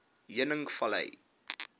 heuningvlei